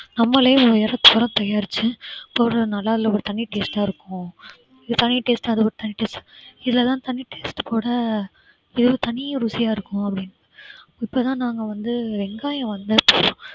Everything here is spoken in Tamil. நம்மளே உரம் தயாரிச்சு போடறதுனால அதுல ஒரு தனி taste ஆ இருக்கும் இது தனி taste அது ஒரு தனி taste இதெல்லாம் தனி taste கூட இது ஒரு தனி ருசியா இருக்கும் அப்படின்னு இப்பதான் நாங்க வந்து வெங்காயம் வந்து